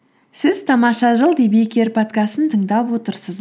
сіз тамаша жыл подкастын тыңдап отырсыз